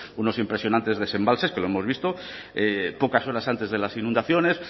unos impresionantes desembalses que lo hemos visto pocas horas antes de las inundaciones